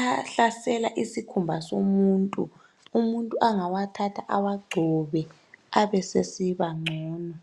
ahlasela isikhumba somuntu umuntu angawathatha awagcobe esesiba ngcono